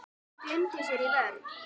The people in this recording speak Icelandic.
Gleymdi sér í vörn.